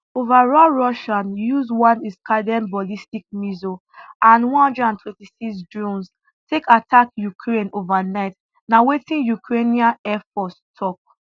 overall russia use one iskander ballistic missile and one hundred and twenty six drones take attack ukraine overnight na wetin ukrainian air force tok